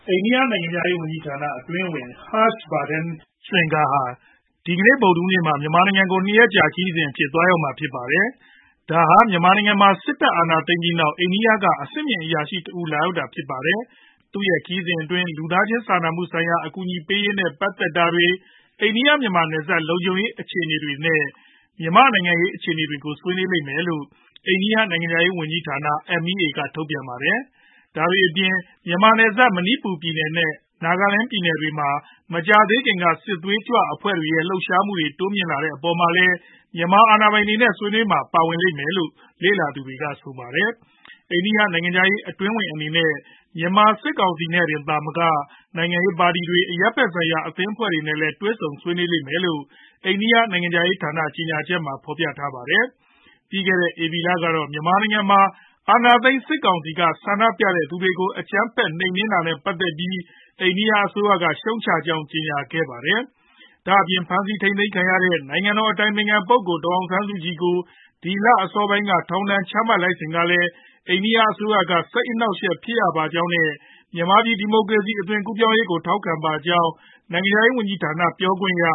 အိန္ဒိယနိုင်ငံခြားရေးဝန်ကြီးဌာန အတွင်းဝန် Harsh Vardhan Shringla ဟာ ဒီကနေ့ ဗုဒ်ဓဟူးနေ့မှာ မြန်မာနိုင်ငံကို (၂)ရက်ကြာ ခရီးစဉ်အဖြစ် သွားရောက်မှာဖြစ်ပါတယ်။ ဒါဟာ မြန်မာနိုင်ငံမှာ စစ်တပ်အာဏာသိမ်းပြီးနောက် အိန္ဒိယနိုင်ငံက အဆင့်မြင့်အရာရှိတဦးလာရောက်တာဖြစ်ပါတယ်။ သူရဲ့ခရီးစဉ်အတွင်းမှာ လူသားချင်းစာနာမှုဆိုင်ရာ အကူအညီပေးရေးနဲ့ပတ်သက်တာတွေ၊ အိန္ဒိယ မြန်မာနယ်စပ်လုံခြုံရေးအခြေအနေတွေ နဲ့ မြန်မာ့နိုင်ငံရေးအခြေအနေတွေကို ဆွေးနွေးလိမ့်မယ်လို့ အိန္ဒိယနိုင်ငံခြားရေးဝန်ကြီးဌာန MEA က ထုတ်ပြန်ထားပါတယ်။ အဲဒါတွေအပြင် မြန်မာနယ်စပ် မဏီပူပြည်နယ် နဲ့ နာဂလန်းပြည်နယ်တွေမှာ မကြာသေးခင်က စစ်သွေးကြွအဖွဲ့တွေရဲ့လှုပ်ရှားမှုတွေ တိုးမြှင့်လာတဲ့အပေါ်မှာလည်း မြန်မာအာဏာပိုင်တွေနဲ့ ဆွေးနွေးပွဲမှာ ပါဝင်လိမ့်မယ်လို့ လေ့လာသူတွေက ဆိုပါတယ်။ အိန္ဒိယနိုင်ငံခြားရေးအတွင်းဝန်အနေနဲ့ မြန်မာစစ်ကောင်စီနဲ့ တင်သာမက နိုင်ငံရေးပါတီတွေ၊ အရပ်ဖက်ဆိုင်ရာ အသင်းအဖွဲ့တွေနဲ့လည်း တွေ့ဆုံဆွေးနွေးလိမ့်မယ်လို့ အိန္ဒိယနိုင်ငံခြားရေးဌာနကြေညာချက်မှာဖော်ပြထားပါတယ်။ ပြီးခဲ့တဲ့ဧပြီလကတော့ မြန်မာနိုင်ငံမှာ အာဏာသိမ်း စစ်ကောင်စီက ဆန္ဒပြသူတွေကို အကြမ်းဖက်နိုမ်နင်းခဲ့တာနဲ့ ပတ်သက်ပြီး အိန္ဒိယအစိုးရက ရှုတ်ချကြောင်းကြေညာခဲ့ပါတယ်။ ဒါပြင်ဖမ်းဆီးခံထားရတဲ့ နိုင်ငံတော်အတိုင်ပင်ခံ ပုဂ္ဂိုလ်ဒေါ်အောင်ဆန်းစုကြည်ကို ဒီလအစောပိုင်း က ထောင်ဒဏ်ချမှတ်လိုက်စဉ်ကလည်း အိန္ဒိယနိုင်ငံက စိတ်အနှောက်အယှက်ဖြစ်ရပါကြောင်း နဲ့ မြန်မာဒီမိုကရေစီရေး အသွင်ကူးပြောင်းရေးကို ထောက်ခံပါကြောင်း နိုင်ငံခြားရေးဝန်ကြီးဌာန ပြောရေးခွင့်ရ